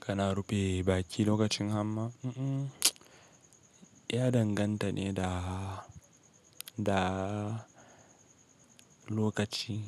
Kana rufe baki lokacin hamma? Mm-mm, ya danganta ne da, da lokaci.